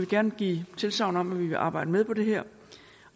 gerne give tilsagn om at vi vil arbejde med på det her